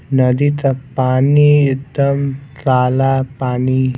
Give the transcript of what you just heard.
नदी का पानी एकदम ताला पानी --